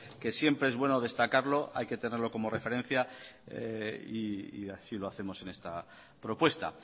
que siempre es bueno destacarlo hay que tenerlo como referencia y así lo hacemos en esta propuesta